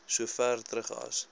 sover terug as